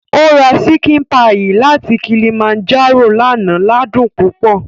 Ó ra ṣíkìn páyì láti Kilimanjaro lánàá ládùn púpọ̀